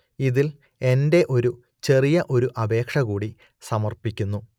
ഇതിൽ എന്റെ ഒരു ചെറിയ ഒരു അപേക്ഷ കൂടി സമർപ്പിക്കുന്നു